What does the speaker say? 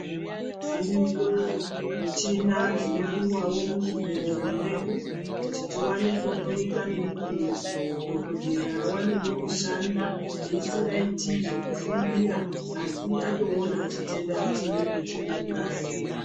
Dziriyo michina dzinodiwawo muzvibhedhlera mwedu kuti tiwane kuhloyika nemukuwo. Dhokodhera awanewo kushanda esingaiti zvekufungira, asi atoona chitenda chinenge chiri mungazi.